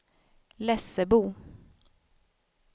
Lessebo